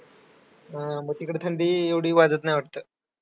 हां मग तिकडं थंडी एवढी वाजत नाही वाटतं?